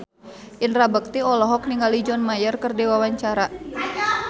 Indra Bekti olohok ningali John Mayer keur diwawancara